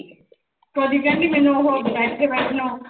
ਸੋਡੀ ਕਹਿੰਦੀ ਮੈਨੂੰ ਉਹੋ, ਬੈਠੇ ਬੈਠੇ ਨੂੰ